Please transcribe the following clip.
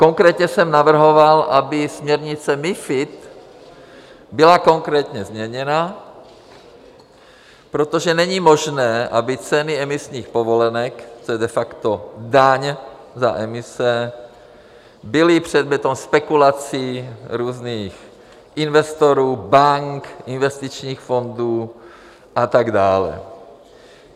Konkrétně jsem navrhoval, aby směrnice MiFID byla konkrétně změněna, protože není možné, aby ceny emisních povolenek, což je de facto daň za emise, byly předmětem spekulací různých investorů, bank, investičních fondů a tak dále.